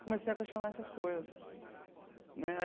Comecei a questionar essas coisas né.